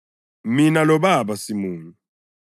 Mina loBaba simunye.”